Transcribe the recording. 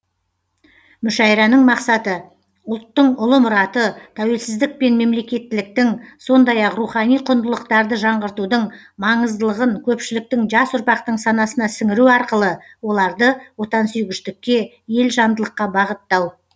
мүшәйраның мақсаты ұлттың ұлы мұраты тәуелсіздік пен мемлекеттіліктің сондай ақ рухани құндылықтарды жаңғыртудың маңыздылығын көпшіліктің жас ұрпақтың санасына сіңіру арқылы оларды отансүйгіштікке елжандылыққа бағыттау